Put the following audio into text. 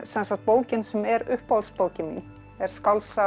bókin sem er uppáhaldsbókin mín er skáldsagan